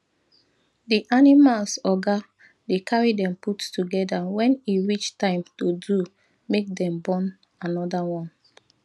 the animals oga dey carry them put together when e reach time to do make them born another one